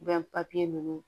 ninnu